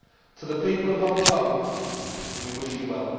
To the people of Hong Kong we wish you well.